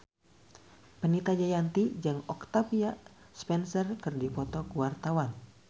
Fenita Jayanti jeung Octavia Spencer keur dipoto ku wartawan